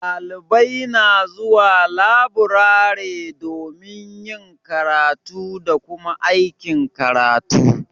Dalibai na zuwa laburare domin yin karatu da Kuma aikin karatu.